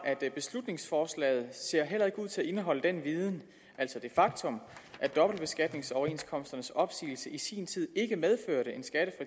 beslutningsforslaget ser heller ikke ud til at indeholde den viden altså det faktum at dobbeltbeskatningsoverenskomsternes opsigelse i sin tid ikke medførte